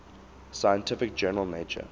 scientific journal nature